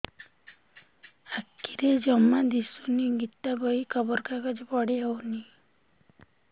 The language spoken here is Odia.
ଆଖିରେ ଜମା ଦୁଶୁନି ଗୀତା ବହି ଖବର କାଗଜ ପଢି ହଉନି